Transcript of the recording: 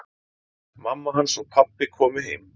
Mamma hans og pabbi komu heim.